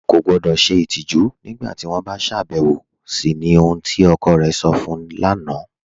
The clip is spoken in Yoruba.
Ọ̀ kọ gbọdọ́ ṣẹ itijù nígbàtí wọn bá ṣàbẹwọ̀ sí ni ohun tí ọkọ̀ rẹ̀ sọ̀ fún u lána